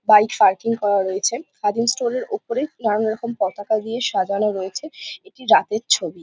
Bike parking করা রয়েছে। Khadim stall -এর ওপরে নানা রকম পতাকা দিয়ে সাজানো রয়েছে এটি রাতের ছবি।